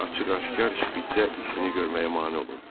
Bak açıq-aşkar şpitsə işini görməyə mane olurdu.